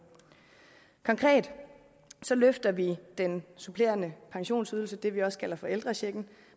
konkret løfter vi den supplerende pensionsydelse det vi også kalder for ældrechecken